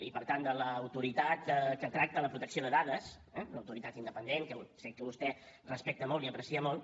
i per tant de l’autoritat que tracta la protecció de dades una autoritat independent que sé que vostè respecta molt i aprecia molt